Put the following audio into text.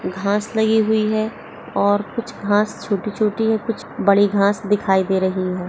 घास लगी हुई है और कुछ घास छोटी छोटी कुछ बड़ी घास दिखाई दे रही हैं।